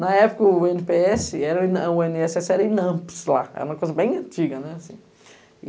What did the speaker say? Na época o ene pê esse, o ene esse esse era o INAMPS lá, era uma coisa bem antiga.